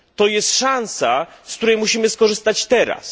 Jest to szansa, z której musimy skorzystać teraz.